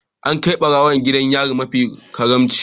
An kai barawon wayar gidan yari mafi karanci